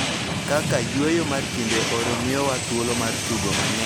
Kaka yweyo mar kinde oro miyowa thuolo mar tugo mang�eny kendo yweyo.